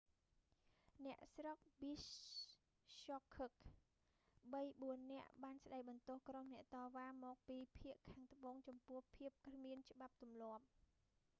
អ្នកស្រុកប៊ីស្ហខឹក bishkek បីបួននាក់បានស្តីបន្ទោសក្រុមអ្នកតវ៉ាមកពីភាគខាងត្បូងចំពោះភាពគ្មានច្បាប់ទម្លាប់